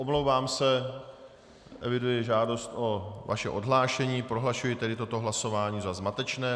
Omlouvám se, eviduji žádost o vaše odhlášení, prohlašuji tedy toto hlasování za zmatečné.